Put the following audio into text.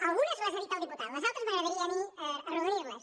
algunes les ha dit el diputat les altres m’agradaria a mi arrodonir·les